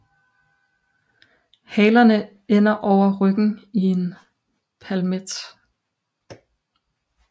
Halerne ender over ryggen i en palmet